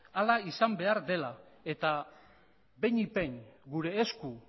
hala izan behar dela eta behinik behin gure esku